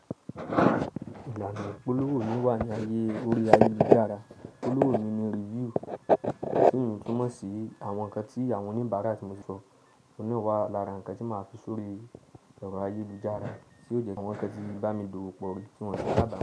Ìlànà ìpolówó mì wà ní ayé orí ayélujára. Ìpolówó mì ni review, tí eyi túmọ̀ sí àwọn nǹkan tí àwọn oníbàárà tí mo sọ, omiiran wá lára nǹkan tí máa fi sori erọ̀ ayélujára. Sé o jẹ̀ kí àwọn nnkan tí bá mi dowò pọ̀, kí wọ́n ṣọ kàbọ́mo.